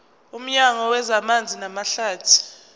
nomnyango wezamanzi namahlathi